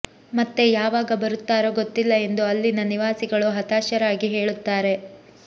ಮತ್ತೆ ಯಾವಾಗ ಬರುತ್ತಾರೋ ಗೊತ್ತಿಲ್ಲ ಎಂದು ಅಲ್ಲಿನ ನಿವಾಸಿಗಳು ಹತಾಶರಾಗಿ ಹೇಳುತ್ತಾರೆ